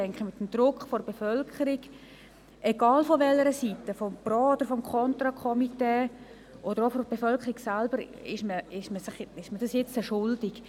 Ich denke, aufgrund des Drucks der Bevölkerung, egal von welcher Seite er kommt, ist man dies den Leuten schuldig.